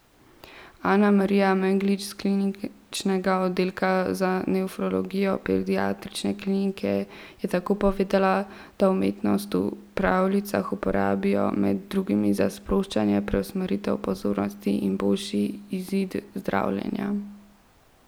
Anamarija Meglič s kliničnega oddelka za nefrologijo pediatrične klinike je tako povedala, da umetnost v pravljicah uporabijo med drugim za sproščanje, preusmeritev pozornosti in boljši izid zdravljenja.